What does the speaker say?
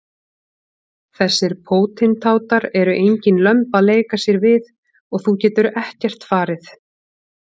Þessir pótintátar eru engin lömb að leika sér við og þú getur ekkert farið.